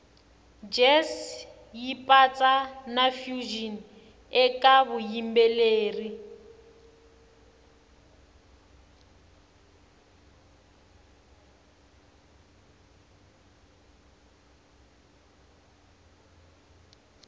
jazz yipatsa nafusion ekavuyimbeleri